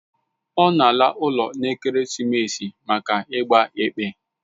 Ọ na ala ụlọ n'ekeresimesi a maka ịgba ekpe